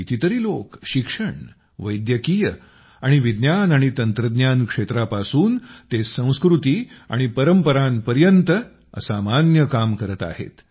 कितीतरी लोक शिक्षण वैद्यकीय आणि विज्ञान आणि तंत्रज्ञान क्षेत्रापासून ते संस्कृती आणि परंपरापर्यंत असामान्य काम करत आहेत